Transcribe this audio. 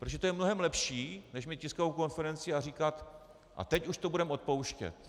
Protože to je mnohem lepší než mít tiskovou konferenci a říkat: a teď už to budeme odpouštět.